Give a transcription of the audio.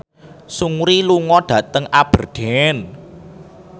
Seungri lunga dhateng Aberdeen